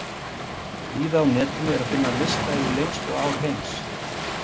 Víða á netinu er að finna lista yfir lengstu ár heims.